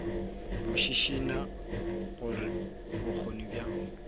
bo šišinya gore bokgoni bja